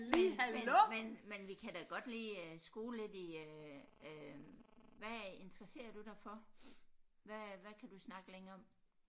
Men men men men vi kan da godt lige øh skole lidt i øh øh hvad interesserer du dig for hvad hvad kan du snakke længe om